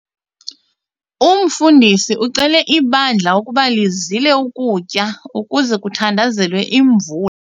Umfundisi ucele ibandla ukuba lizile ukutya ukuze kuthandazelwe imvula.